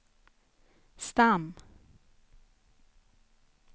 stam